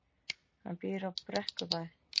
Hann býr á Brekkubæ.